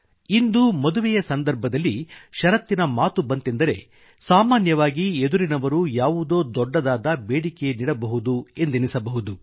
ಇಂದು ಮದುವೆಯ ಸಂದರ್ಭದಲ್ಲಿ ಷರತ್ತಿನ ಮಾತು ಬಂತೆಂದರೆ ಸಾಮಾನ್ಯವಾಗಿ ಎದುರಿನವರು ಯಾವುದೋ ದೊಡ್ಡದಾದ ಬೇಡಿಕೆಯನ್ನಿಡಬಹುದು ಎಂದೆನಿಸಬಹುದು